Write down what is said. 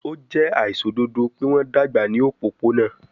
O jẹ aiṣododo pe wọn dagba ni opopona